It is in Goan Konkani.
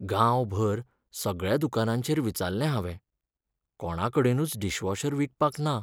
गांवभर सगळ्या दुकानांचेर विचारले हांवें, कोणाकडेनूच डिशवॉशर विकपाक ना .